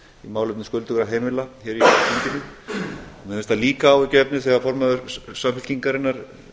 málefnum skuldugra heimila hér í þinginu mér finnst það líka áhyggjuefni þegar formaður samfylkingarinnar